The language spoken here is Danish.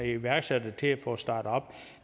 iværksætter til at få startet op og